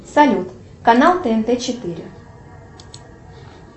салют канал тнт четыре